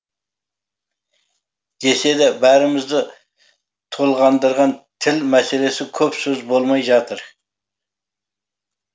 десе де бәрімізді толғандырған тіл мәселесі көп сөз болмай жатыр